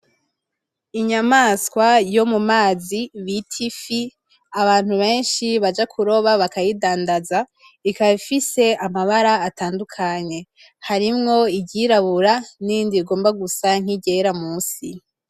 Inyamaswa yomumazi bita ifi, abantu benshi Baja kuroba bakayidandaza ikaba ifise amabara atandukanye, harimwo iryirabura n’irindi rigomba gusa nk’iryera musi.